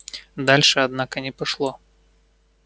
дальше однако не пошло